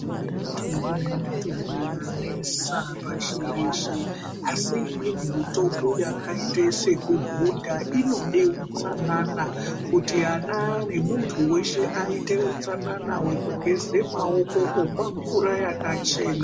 Kune mitongo nemitongo yanesa pashi reshe asi imweni mitongo yakaite sekuhudha inode utsanana kuti ana nemuntu weshe aite utsanana wekugeze maoko komwa mvura yakachena.